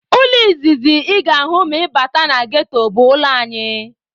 Ụlọ izizi ị ga-ahụ ma ị bata na ghetto bụ ụlọ anyị.